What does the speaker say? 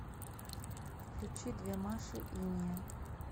включи две маши инея